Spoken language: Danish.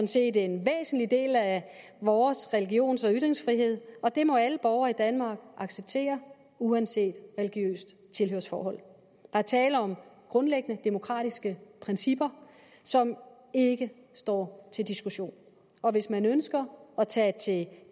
set en væsentlig del af vores religions og ytringsfrihed og det må alle borgere i danmark acceptere uanset religiøst tilhørsforhold der er tale om grundlæggende demokratiske principper som ikke står til diskussion og hvis man ønsker at tage til